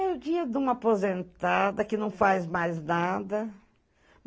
É o dia de uma aposentada que não faz mais nada.